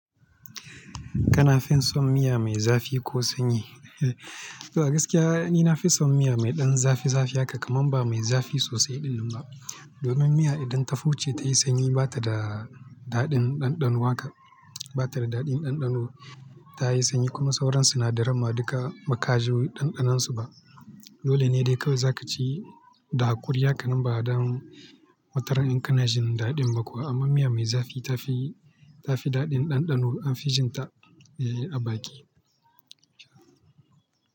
Kana fin son miya mai zafi ko sanyi? Da gaskiya ni na fi son miya mai ɗan zafi zafi haka, kaman ba mai zafi sosai ɗin ba. Domin miya idan ta fuce ta yi sanyi bata da daɗin ɗanɗano haka, bata da daɗin ɗanɗano ta yi sanyi kuma sauran sinadaran ma duka ba ka ji ɗanɗanonsu ba. Dole ne dai kawai za ka ci da hakuri haka nan ba dam wataran in ka na jin daɗin ba kuwa. Amma miya mai zafi ta fi, ta fi daɗin ɗanɗano an fi jin ta a baki.